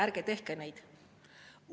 Ärge tehke neid!